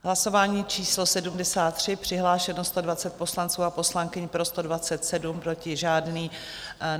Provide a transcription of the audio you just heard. Hlasování číslo 73, přihlášeno 120 poslanců a poslankyň, pro 127, proti žádný.